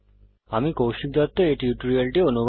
আমি কৌশিক দত্ত এই টিউটোরিয়ালটি অনুবাদ করেছি